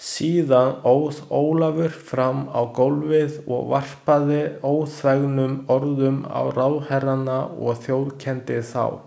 Síðan óð Ólafur fram á gólfið og varpaði óþvegnum orðum á ráðherrana og þjófkenndi þá.